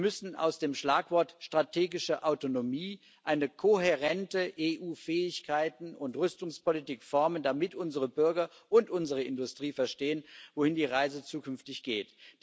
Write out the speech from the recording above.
Sie müssen aus dem Schlagwort strategische Autonomie eine kohärente EU Fähigkeiten und Rüstungspolitik formen, damit unsere Bürger und unsere Industrie verstehen, wohin die Reise zukünftig geht.